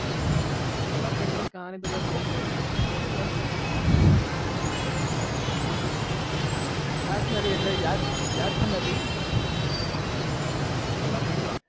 interesting કહાની કઈ છે જ નહિ પણ ખાસ પણ યાદ પણ નથી હમમ